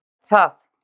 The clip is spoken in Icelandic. Held það.